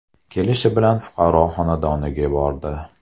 Kelishi bilan fuqaro xonadoniga bordi.